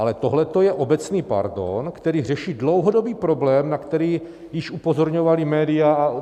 Ale tohleto je obecný pardon, který řeší dlouhodobý problém, na který již upozorňovala média.